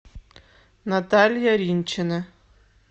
наталья ринчина